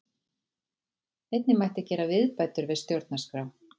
Einnig mætti gera viðbætur við stjórnarskrá